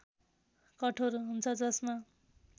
कठोर हुन्छ जसमा